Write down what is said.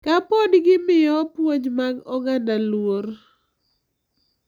Ka pod gimiyo puonj mag oganda luor.